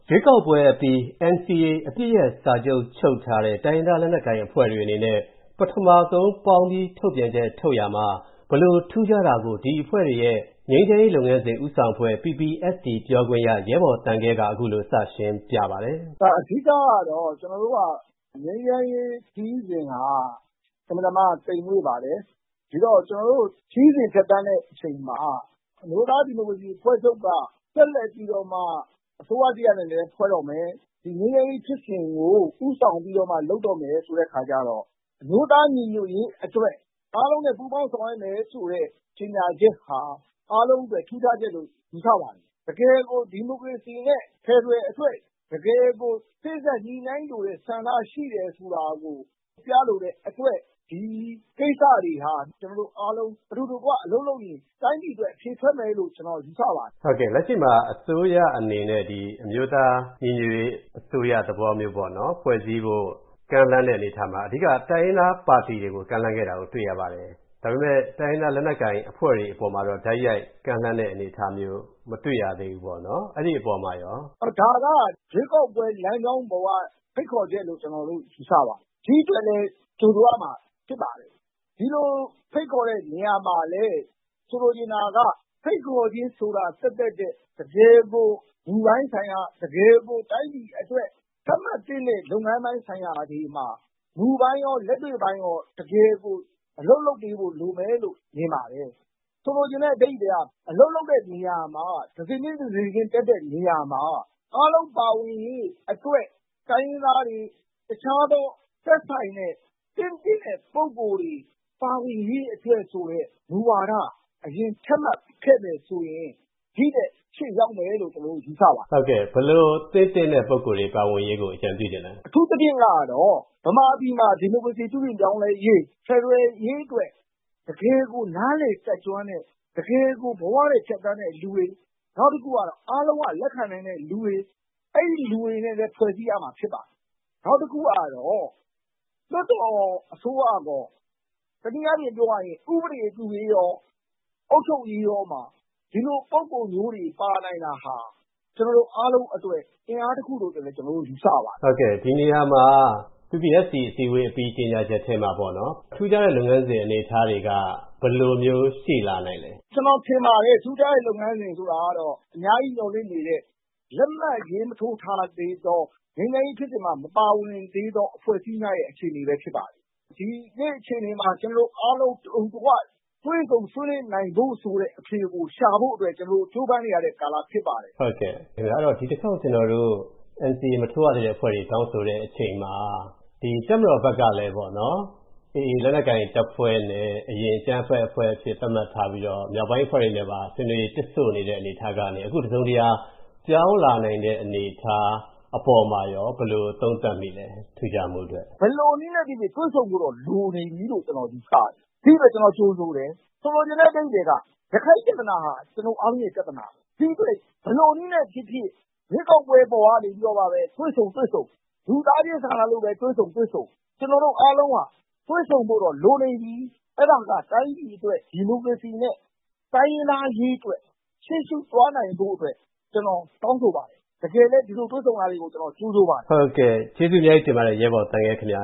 ရွေးကောက်ပွဲအပြီး NCA တနိုင်ငံလုံးအပစ်ရပ်စာချုပ်ချုပ်ထားတဲ့ တိုင်းရင်းသားလက်နက်ကိုင်အဖွဲ့တွေအနေနဲ့ ပထမဆုံးပေါင်းပြီး ကြေညာချက်ထုတ်ရာမှာ၊ ဘယ်လိုထူးခြားတာကို ဒီအဖွဲ့တွေရဲ့ ငြိမ်းချမ်းရေးလုပ်ငန်းစဉ်ဦးဆောင်အဖွဲ့ ပြောခွင့်ရ ရဲဘော်သံခဲကို ကိုဝင်းမင်း မေးမြန်းရာမှာ သူက ခုလိုစရှင်းပြပါတယ်။ ရဲဘော်သံခဲ။ ။ အဓိကတော့ ကျနော်တို့က ငြိမ်းချမ်းရေးခရီးစဉ်က အင်မတန်မှ သိမ်မွှေ့ပါတယ်။ ဒီတော့ ကျနော်တို့ ခရီးစဉ်ဖြတ်သန်းတဲ့အချိန်မှာ အမျိုးသားဒီမိုကရေစီ အဖွဲ့ချုပ်က ဆက်လက်ပြီးတော့မှ အစိုးရသစ်အနေနဲ့လည်းဖွဲ့တော့မယ် ဒီငြိမ်းချမ်းရေးဖြစ်စဉ်ကို ဦးဆောင်ပြီးတော့မှ လုပ်တော့မယ် ဆိုတဲ့အခါကျတော့ အမျိုးသားညီညွှတ်ရေးအတွက် အားလုံးနဲ့ ပူးပေါင်းဆောင်ရွက်မယ်ဆိုတဲ့ ကြေညာချက်ဟာ အားလုံးအတွက် ထူးခြားချက်လို့ ယူဆပါတယ်။ တကယ်ကို ဒီမိုကရေစီနဲ့ ဖယ်ဒရယ်အတွက် တကယ်ကို စေ့စပ်ညှိနှိုင်းလိုတဲ့ ဆန္ဒရှိတယ်ဆိုတာကို ပြလိုတဲ့အတွက် ဒီကိစ္စတွေဟာ ကျနော်တို့အားလုံး အတူတကွအလုပ်လုပ်ရင် တိုင်းပြည်အတွက် အဖြေထွက်မယ်လို့ ကျနော်ယူဆပါတယ်။ ကိုဝင်းမင်း။ ။ ဟုတ်ကဲ့ လက်ရှိမှာ အစိုးရအနေနဲ့ဒီ အမျိုးသားညီညွှတ်ရေးအစိုးရသဘောမျိုးပေါ့နော် ဖွဲ့စည်းဖို့ ကမ်းလှမ်းတဲ့အနေအထားမှာ အဓိက တိုင်းရင်းသားပါတီတွေကို ကမ်းလှမ်းခဲ့တာကို တွေ့ရပါတယ်။ ဒါပေမယ့် တိုင်းရင်းသားလက်နက်ကိုင်အဖွဲ့တွေအပေါ်မှာတော့ တိုက်ရိုက်ကမ်းလှမ်းတဲ့အနေအထားမျိုး မတွေ့ရသေးဘူးပေါ့နော် အဲဒီအပေါ်မှာရော။ ရဲဘော်သံခဲ။ ။ ဒါက ရွေးကောက်ပွဲ လမ်းကြောင်းပေါ်က ဖိတ်ခေါ်ချက်လို့ ကျနော်တို့ ယူဆပါတယ်။ ဒီအတွက်လည်း ကြိုဆိုရမှာ ဖြစ်ပါတယ်။ ဒီလိုဖိတ်ခေါ်တဲ့နေရာမှာလည်း ဖိတ်ခေါ်ခြင်းဆိုတာ သက်သက်ထက် တကယ်ကို တိုင်းပြည်အတွက် သတ်မှတ်သင့်တဲ့ လုပ်ငန်းပိုင်းဆိုင်ရာတွေမှာ မူပိုင်းရော၊ လက်တွေ့ပိုင်းရော တကယ်ကို အလုပ်လုပ်ပေးဖို့ လိုမယ်လို့ မြင်ပါတယ်။ ဆိုလိုချင်တဲ့ အဓိပ္ပါယ်က အလုပ်လုပ်တဲ့နေရာမှာ တဆင့်ချင်း တဆင့်ချင်း တက်တဲ့နေရာမှာ အားလုံးပါဝင်ရေးအတွက် တိုင်းရင်းသားတွေ၊ တခြားသော သက်ဆိုင်တဲ့ သင့်တင့်တဲ့ ပုဂ္ဂိုလ်တွေ ပါဝင်ရေးအတွက်ဆိုတဲ့ မူဝါဒ အရင် ချမှတ်ခဲ့မယ်ဆိုရင် ဒီထက်အရှေ့ရောက်မယ်လို့ ကျနော်တို့ ယူဆပါတယ်။ ကိုဝင်းမင်း။ ။ ဟုတ်ကဲ့ ဘယ်လို တင့်သင့်တဲ့ ပုဂ္ဂိုလ် တွေ ပါဝင်ရေးကို အကြံပြုချင်ပါသလဲ။ ရဲဘော်သံခဲ။ ။အထူးသဖြင့်ကတော့ မြန်မာပြည်မှာ ဒီမိုကရေစီ ပြုပြင်ပြောင်းလဲရေး ၊ ဖယ်ဒရယ်အရေးအတွက် တကယ်ကို နားလည်တတ်ကျွမ်းတဲ့ ၊ တကယ်ကို ဘဝနဲ့ ဖြတ်သန်းတဲ့လူတွေ ၊ နောက်တခုကတော့ အားလုံးလက်ခံနိုင်တဲ့လူတွေ အဲဒီလူတွေနဲ့ ဖွဲ့စည်းရမှာဖြစ်ပါတယ်။ နောက်တခုကတော့ လွှတ်တော်အစိုးရအပေါ် တနည်းအားဖြင့်ပြောရရင် ဥပဒေပြုရေးရော၊ အုပ်ချုပ်ရေးရောမှာ ဒီလို ပုဂ္ဂိုလ်မျိုးတွေပါနိုင်တာဟာ ကျနော်တို့အားလုံးအတွက် အင်အားတခုလို့ ကျနော်တို့ ယူဆပါတယ်။ ကိုဝင်းမင်း။ ။ ဟုတ်ကဲ့ဒီနေရာမှာ PPST အစည်းအဝေးအပြီး ကြေညာချက်ထဲမှာပေါ့နော် ထူးခြားတဲ့ လုပ်ငန်းစဉ်အနေအထားတွေက ဘယ်လိုမျိုး ရှိလာနိုင်သလဲ။ ရဲဘော်သံခဲ။ ။ ကျနော်ထင်ပါတယ် ထူးခြားတဲ့ လုပ်ငန်းစဉ်ဆိုတာကတော့ အများကြီးမျှော်လင့်နေတဲ့ လက်မှတ်ရေးမထိုးထားသေးတဲ့၊ ငြိမ်းချမ်းရေးဖြစ်စဉ်မှာ မပါဝင်သေးသော အဖွဲ့အစည်းများရဲ့ အခြေအနေပဲ ဖြစ်ပါတယ်။ ဒီနေ့ အခြေအနေမှာ ကျနော်တို့ အားလုံးအတူတကွ တွေ့ဆုံဆွေးနွေးနိုင်ဖို့ဆိုတဲ့ အဖြေကို ရှာဖို့အတွက် ကြိုးပမ်းနေရတဲ့ ကာလဖြစ်ပါတယ်။ ကိုဝင်းမင်း။ ။ ဟုတ်ကဲ့ ဒီတခေါက်ကျွန်တော်တို့ NCA မထိုးရသေးတဲ့ အဖွဲ့တွေ တောင်းဆိုတဲ့အချိန်မှာ တပ်မတော်ဘက်ကလည်း AA လက်နက်ကိုင်တပ်ဖွဲ့ကို အရင်က အကြမ်းဖက်အဖွဲ့အဖြစ် သတ်မှတ်ထားပြီးတော့၊ မြောက်ပိုင်းအဖွဲ့တွေနဲ့ပါ ဆွေးနွေးရေး တစ်ဆို့နေတဲ့အနေထားကနေ၊ အခုတစုံတရာ ပြောင်းလာနိုင်တဲ့အနေအထား အပေါ်မှာရော ဘယ်လိုသုံးသပ်မိပါသလဲ၊ ထူးခြားမှုအတွက်။ ရဲဘော်သံခဲ။ ။ဘယ်လိုနည်းနဲ့ပဲဖြစ်ဖြစ်တွေ့ဆုံဖို့တော့လိုနေပြီလို့ ကျနော်ယူဆတယ်။ ဒီအတွက် ကျနော်ကြိုဆိုတယ်။ ဆိုလိုချင်တဲ့ အဓိပ္ပါယ်က ရခိုင်ပြဿနာဟာ ကျနော်တို့ အားလုံးရဲ့ ပြဿနာပါပဲ။ ဒီအတွက် ဘယ်လိုနည်းနဲ့ပဲဖြစ်ဖြစ် ရွေးကောက်ပွဲ အပေါ်ကနေမှ တွေ့ဆုံတွေ့ဆုံ ၊ လူသားချင်းစာနာလို့ပဲ တွေ့ဆုံတွေ့ဆုံ၊ ကျနော်တို့ အားလုံးဟာ တွေ့ဆုံဖို့တော့လိုနေပြီ။ အဲဒါက တိုင်းပြည်အတွက် ဒီမိုကရေစီနဲ့ တိုင်းရင်းသားအရေးအတွက် ရှေ့ရှုသွားနိုင်ဖို့အတွက် ကျနော်တောင်းဆိုပါတယ်။ တကယ်လည်း ဒီလိုတွေ့ဆုံတာတွေကို ကျနော်ကြိုဆိုပါတယ်။ ကိုဝင်းမင်း။ ။ ဟုတ်ကဲ့ ကျေးဇူးအများကြီးတင်ပါတယ် ရဲဘော်သံခဲ ခင်ဗျ